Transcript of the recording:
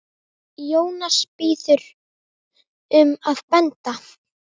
Jónas biður um að benda